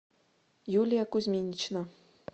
юлия кузьминична